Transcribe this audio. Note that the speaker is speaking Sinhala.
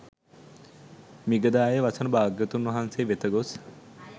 මිගදායෙහි වසන භාග්‍යවතුන් වහන්සේ වෙත ගොස්